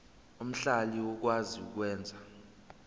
omhlali okwazi ukwenza